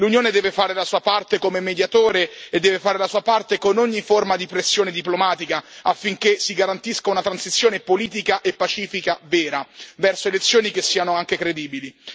L'Unione deve fare la sua parte come mediatore e deve fare la sua parte con ogni forma di pressione diplomatica affinché si garantisca una transizione politica e pacifica vera verso elezioni che siano anche credibili.